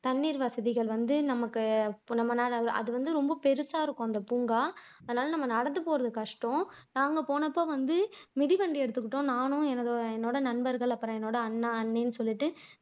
தண்ணீர் வசதிகள் வந்து நமக்கு ரொம்பநெரம் ஆகும் அது வந்து ரொம்ப பெருசா இருக்கும் பூங்கா அதனால நம்ம நடந்து போறது கஷ்டம் நாங்க போனப்ப வந்து மிதி வண்டி எடுத்துகிட்டோம் நானும் எனது என்னோட நண்பர்கள், அப்புறம் என்னோட அண்ணா, அண்ணி சொல்லிட்டு